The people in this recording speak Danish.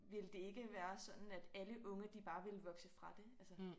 Ville det ikke være sådan at alle unge de bare ville vokse fra det altså